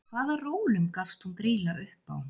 Hvaða rólum gafst hún Grýla upp á?